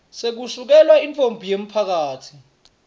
sekusukela intfombi yemphakatsi